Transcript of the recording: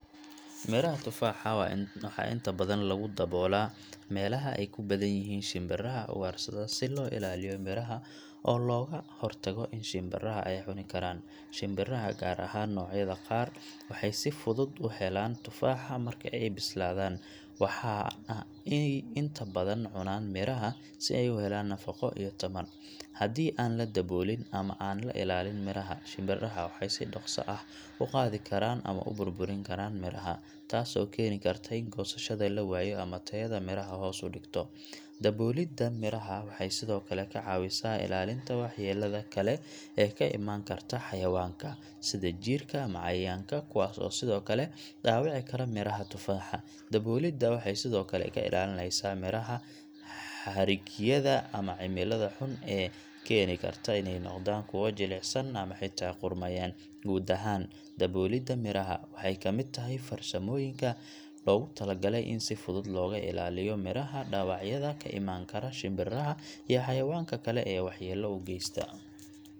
Miraha tufaaxa waxaa inta badan loogu daboolaa meelaha ay ku badan yihiin shimbiraha ugaarsada si loo ilaaliyo miraha oo looga hortago in shimbiraha ay cuni karaan. Shimbiraha, gaar ahaan noocyada qaar, waxay si fudud u helaan tufaaxa marka ay bislaadaan, waxaana ay inta badan cunaan miraha si ay u helaan nafaqo iyo tamar. Haddii aan la daboolin ama aan la ilaalin miraha, shimbiraha waxay si dhaqso ah u qaadi karaan ama burburin karaan miraha, taasoo keeni karta in goosashada la waayo ama tayada miraha hoos u dhigto. Daboolidda miraha waxay sidoo kale ka caawisaa ilaalinta waxyeellada kale ee ka imaan karta xayawaanka, sida jiirka ama cayayaanka, kuwaas oo sidoo kale dhaawici kara miraha tufaaxa. Daboolidda waxay sidoo kale ka ilaalinaysaa miraha xadhigyada ama cimilada xun ee keeni karta inay noqdaan kuwo jilicsan ama xitaa qudhmayaan. Guud ahaan, daboolidda miraha waxay ka mid tahay farsamooyinka loogu talagalay in si fudud looga ilaaliyo miraha dhaawacyada ka imaan kara shimbiraha iyo xayawaanka kale ee waxyeello u geysta.